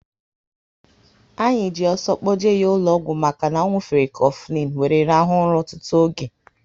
Anyị ji ọsọ kpoje ya ụlọ ọgwụ maka na ọ nwufere Kofilin wéré rahua ụra ọtụtụ oge